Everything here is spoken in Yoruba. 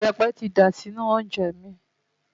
Ìyẹ̀pẹ̀ ti dà sínú oúnjẹ mi.